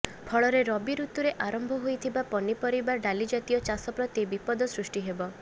ଫଳରେ ରବି ଋତୁରେ ଆରମ୍ଭ ହୋଇଥିବା ପନିପରିବା ଡାଲିଜାତୀୟ ଚାଷ ପ୍ରତି ବିପଦ ସୃଷ୍ଟି ହେବ